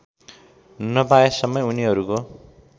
नपाएसम्मै उनीहरुको